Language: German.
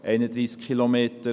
Das sind 31 Kilometer.